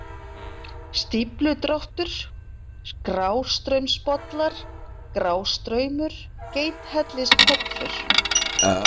Stífludráttur, Grástraumsbollar, Grástraumur, Geithellispollur